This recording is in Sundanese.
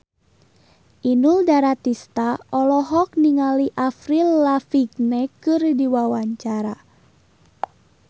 Inul Daratista olohok ningali Avril Lavigne keur diwawancara